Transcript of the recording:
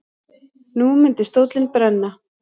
Nú myndi stóllinn brenna.